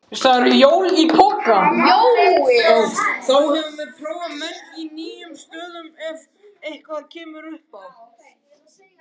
Þá höfum við prófað menn í nýjum stöðum ef eitthvað kemur upp á.